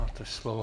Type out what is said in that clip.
Máte slovo.